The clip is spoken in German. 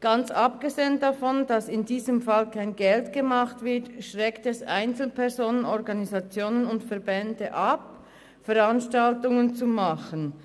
Ganz abgesehen davon, dass in diesem Fall kein Geld verdient wird, schreckt es Einzelpersonen, Organisationen und Verbände ab, solche Veranstaltungen zu organisieren.